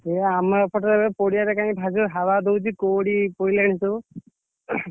ଏ ଆମ ଏପଟରେ ପଡିଆ ରେ କାହିକି ଭାରିଜୋରେ हवा ଦଉଛି କୁହୁଡି ପଇଲାଇ ସବୁ ।